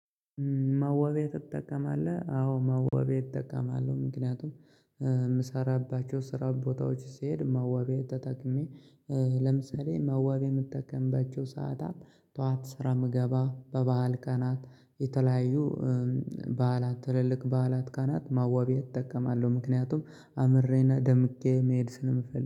መዋቢያ ትጠቀማለህ አዎ መዋቢያ እጠቀማለሁ። ምክንያቱም የምሰራባቸው ስራ ቦታዎች ስሄድ መዋቢያ ተጠቅሜ። ለምሳሌ መዋቢያ ምጠቀምባቸው ሰዓታት ጠዋት ስራ ምገባ በበዓል ቀናት የተለያዩ በዓላት ትልልቅ በዓላት ቀናት ማዋቢያ እጠቀማለሁ። ምክንያቱም አምሬና ደምቄ መሄድ ስለምፈልግ